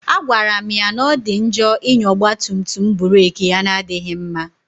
A gwara m ya na ọ dị njọ ịnya ọgba tum tum burek ya na-adịghị mma